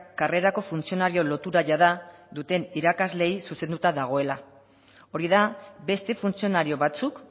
karrerako funtzionario lotura jada duten irakasleei zuzenduta dagoela hori da beste funtzionario batzuk